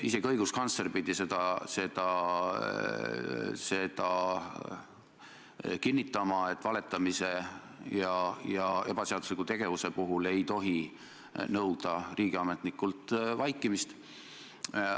Isegi õiguskantsler pidi kinnitama, et valetamise ja ebaseadusliku tegevuse korral ei tohi nõuda riigiametnikult vaikimist.